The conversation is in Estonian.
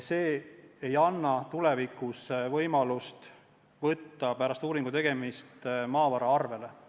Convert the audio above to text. See ei anna tulevikus võimalust võtta pärast uuringu tegemist maavara arvele.